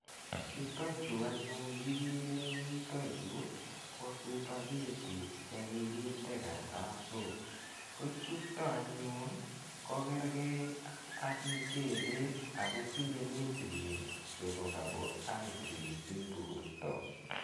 Chutachu anyun ikere eng' yutayu ko supeghetti che kikinde kartasok. Ko chuto anyun ko kergei ak muchelek ak kotinye nutrients chepo carbohydrates eng' porta.